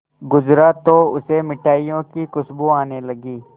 गुजरा तो उसे मिठाइयों की खुशबू आने लगी